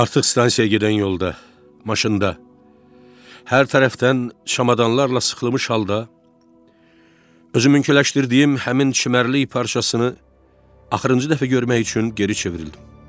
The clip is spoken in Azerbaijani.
Artıq stansiyaya gedən yolda, maşında, hər tərəfdən şamadanlarla sıxılmış halda, özümünküləşdirdiyim həmin çimərlik parçasını axırıncı dəfə görmək üçün geri çevrildim.